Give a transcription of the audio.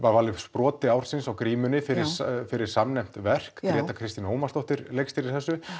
brotið á grímunni fyrir fyrir samnefnt verk Gréta Kristín Ómarsdóttir leikstýrði þessu